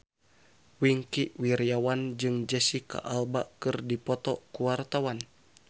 Wingky Wiryawan jeung Jesicca Alba keur dipoto ku wartawan